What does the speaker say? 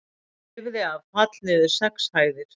Lifði af fall niður sex hæðir